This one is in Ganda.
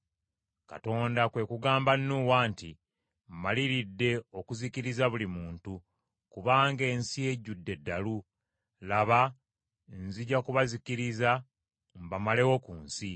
Katonda kwe kugamba Nuuwa nti, “Mmaliridde okuzikiriza buli muntu, kubanga ensi ejjudde eddalu; laba, nzija kubazikiriza mbamalewo ku nsi.